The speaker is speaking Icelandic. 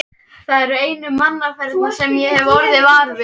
Það eru einu mannaferðirnar sem ég hef orðið var við.